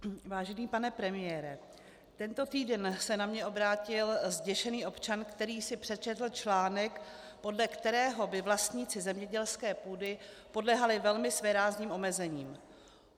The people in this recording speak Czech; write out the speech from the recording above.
Vážený pane premiére, tento týden se na mě obrátil zděšený občan, který si přečetl článek, podle kterého by vlastníci zemědělské půdy podléhali velmi svérázným omezením.